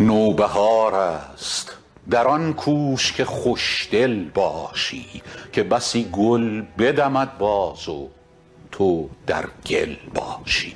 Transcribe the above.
نوبهار است در آن کوش که خوش دل باشی که بسی گل بدمد باز و تو در گل باشی